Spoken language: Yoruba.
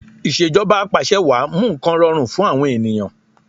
Ìṣèjọba Apàṣẹwàá mú nǹkan rọrùn fún àwọn ènìyàn